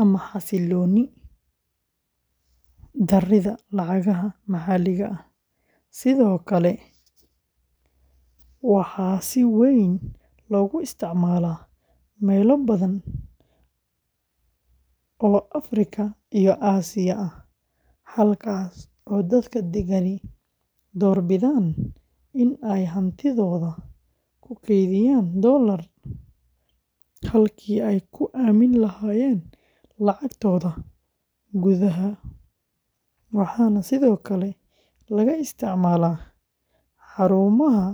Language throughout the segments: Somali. ama xasillooni darrida lacagaha maxalliga ah; sidoo kale, waxaa si weyn loogu isticmaalaa meelo badan oo Afrika iyo Aasiya ah, halkaas oo dadka deggani doorbidaan in ay hantidooda ku kaydiyaan doollar halkii ay ku aamini lahaayeen lacagtooda gudaha, waxaana sidoo kale laga isticmaalaa xarumaha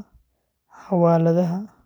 xawaaladaha.